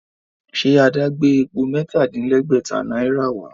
Ṣe Adé gbé epo mẹ́ta-dín-lẹ́gbẹ̀tá náírà wá?